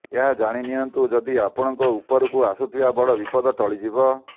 ଏହା ଜାଣିନିଆନ୍ତୁ ଯଦି ଆପଣଙ୍କ ଉପରକୁ ଆସୁଥିବା ବଡ ବିପଦ ଟଳିଯିବ